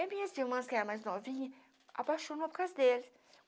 E minhas irmãs, que eram mais novinhas, apaixonou por causa dele.